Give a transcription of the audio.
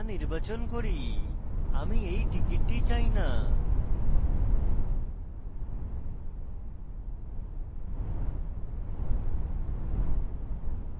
আমি এই ticket চাই না